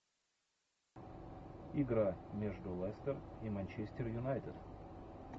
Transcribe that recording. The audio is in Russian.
игра между лестер и манчестер юнайтед